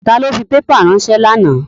Ta ló fi pépà ránsẹ́ lánàá?